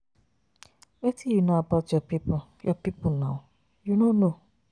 Wetin you know about your people, your people now? You no know.